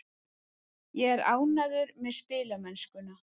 Ég er ánægður með spilamennskuna.